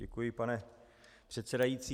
Děkuji, pane předsedající.